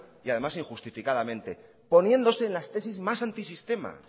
y además injustificadamente poniéndose en la tesis más antisistema